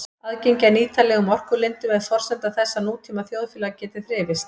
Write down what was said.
Aðgengi að nýtanlegum orkulindum er forsenda þess að nútíma þjóðfélag geti þrifist.